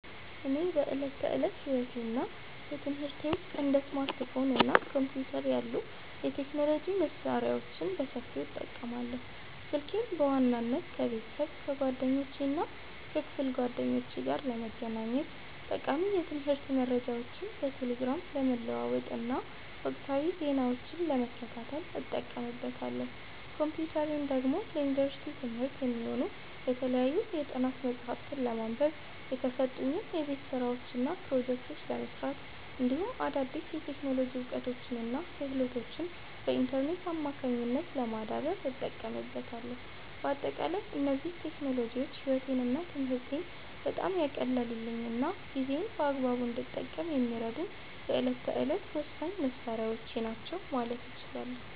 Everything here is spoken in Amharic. እኔ በዕለት ተዕለት ሕይወቴና በትምህርቴ ውስጥ እንደ ስማርትፎን እና ኮምፒውተር ያሉ የቴክኖሎጂ መሣሪያዎችን በሰፊው እጠቀማለሁ። ስልኬን በዋናነት ከቤተሰብ፣ ከጓደኞቼና ከክፍል ጓደኞቼ ጋር ለመገናኘት፣ ጠቃሚ የትምህርት መረጃዎችን በቴሌግራም ለመለዋወጥና ወቅታዊ ዜናዎችን ለመከታተል እጠቀምበታለሁ። ኮምፒውተሬን ደግሞ ለዩኒቨርሲቲ ትምህርቴ የሚሆኑ የተለያዩ የጥናት መጽሐፍትን ለማንበብ፣ የተሰጡኝን የቤት ሥራዎችና ፕሮጀክቶች ለመሥራት፣ እንዲሁም አዳዲስ የቴክኖሎጂ እውቀቶችንና ክህሎቶችን በኢንተርኔት አማካኝነት ለማዳበር እጠቀምበታለሁ። በአጠቃላይ እነዚህ ቴክኖሎጂዎች ሕይወቴንና ትምህርቴን በጣም ያቀለሉልኝና ጊዜዬን በአግባቡ እንድጠቀም የሚረዱኝ የዕለት ተዕለት ወሳኝ መሣሪያዎቼ ናቸው ማለት እችላለሁ።